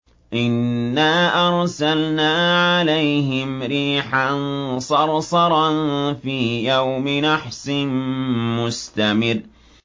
إِنَّا أَرْسَلْنَا عَلَيْهِمْ رِيحًا صَرْصَرًا فِي يَوْمِ نَحْسٍ مُّسْتَمِرٍّ